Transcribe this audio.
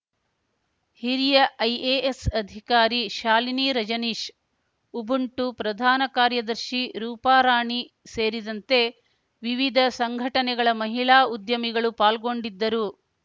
ಹಿರಿಯ ಐಎಎಸ್ ಅಧಿಕಾರಿ ಶಾಲಿನಿ ರಜನೀಶ್ ಉಬುಂಟು ಪ್ರಧಾನ ಕಾರ್ಯದರ್ಶಿ ರೂಪಾರಾಣಿ ಸೇರಿದಂತೆ ವಿವಿಧ ಸಂಘಟನೆಗಳ ಮಹಿಳಾ ಉದ್ಯಮಿಗಳು ಪಾಲ್ಗೊಂಡಿದ್ದರು